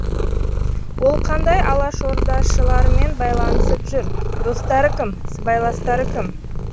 ол қандай алашордашылармен байланысып жүр достары кім сыбайластары кім